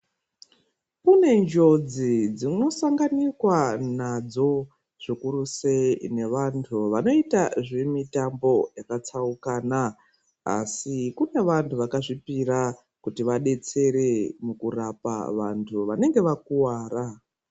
Kune njodzi dzinosanganikwa nadzo zvikuru sei nevantu vanoita zvemitambo yakatsaukana. Asi kune vantu vakazvipira kuti vadetsere mukurapa vantu vanenge vakuwara.